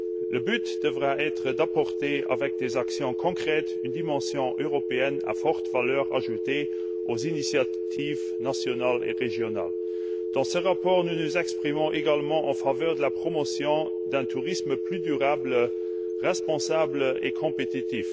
Le but devra être d'apporter, par des actions concrètes, une dimension européenne à forte valeur ajoutée aux initiatives nationales et régionales. Dans ce rapport, nous nous exprimons en faveur de la promotion d'un tourisme plus durable, responsable et compétitif.